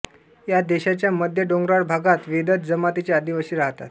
या देशाच्या मध्य डोंगराळ भागात वेदद जमातीचे आदिवासी राहतात